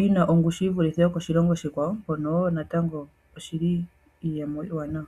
yina ongushu yi vulithe yokoshilongo oshikwawo, mpono wo natango oshili iiyemo iiwanawa.